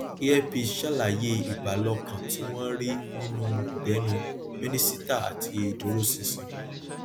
air peace sàlàyé ìbàlọkan tí wọn rí nínú ìbẹnù mínísítà àti ìdúróṣinṣin